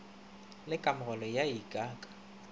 le kamogelo ya ik ka